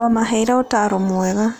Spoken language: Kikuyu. Wamaheire ũtaaro mwega.